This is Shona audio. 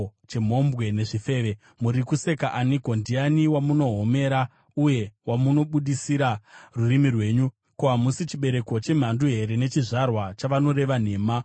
Muri kuseka aniko? Ndiani wamunohomera uye wamunobudisira rurimi rwenyu? Ko, hamusi chibereko chemhandu here, nechizvarwa chavanoreva nhema?